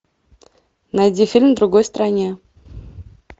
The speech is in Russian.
найди фильм в другой стране